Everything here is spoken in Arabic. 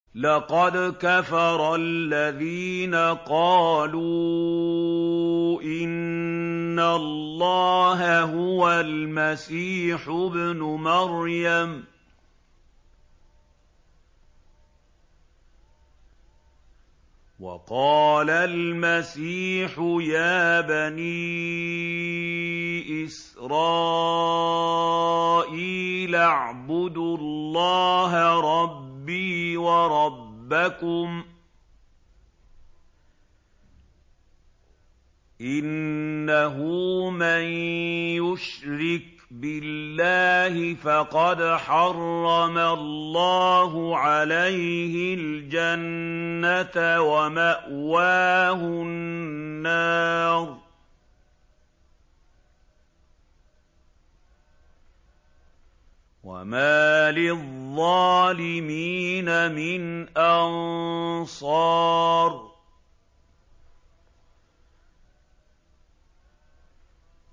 لَقَدْ كَفَرَ الَّذِينَ قَالُوا إِنَّ اللَّهَ هُوَ الْمَسِيحُ ابْنُ مَرْيَمَ ۖ وَقَالَ الْمَسِيحُ يَا بَنِي إِسْرَائِيلَ اعْبُدُوا اللَّهَ رَبِّي وَرَبَّكُمْ ۖ إِنَّهُ مَن يُشْرِكْ بِاللَّهِ فَقَدْ حَرَّمَ اللَّهُ عَلَيْهِ الْجَنَّةَ وَمَأْوَاهُ النَّارُ ۖ وَمَا لِلظَّالِمِينَ مِنْ أَنصَارٍ